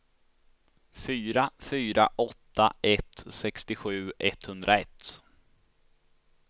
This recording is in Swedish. fyra fyra åtta ett sextiosju etthundraett